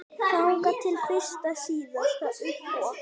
Þangað til fyrir síðasta uppboð.